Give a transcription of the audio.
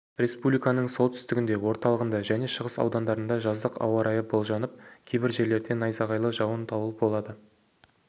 республиканың солтүстігінде орталығында және шығыс аудандарында жаздық ауа райы болжанып кейбір жерлерде найзағайлы жауын дауыл болады